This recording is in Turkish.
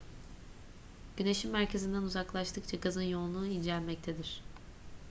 güneşin merkezinden uzaklaştıkça gazın yoğunluğu incelmektedir